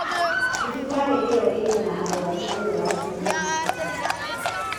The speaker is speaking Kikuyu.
Thibitarĩ ĩo ĩrĩ na arwaru ũũ atĩ nĩ njihoru